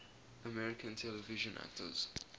american television actors